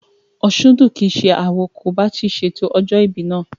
Òsúndùn kìí ṣe awo kò bá ti ṣe ètò ọjọ́ ìbí náà